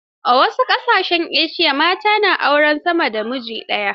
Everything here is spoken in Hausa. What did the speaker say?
A wasu ƙasashen Asiya, mata na aurar sama da namiji daya.